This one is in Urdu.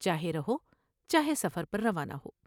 چاہے رہو چاہے سفر پر روانہ ہو ۔